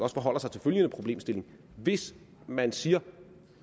også forholder sig til følgende problemstilling hvis man siger